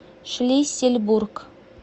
шлиссельбург